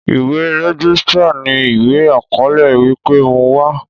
Ìwé rẹ́gísítà ní ìwé àkọọlẹ wípé mo wá